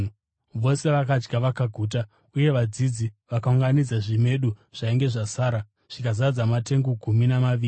Vose vakadya vakaguta, uye vadzidzi vakaunganidza zvimedu zvainge zvasara zvikazadza matengu gumi namaviri.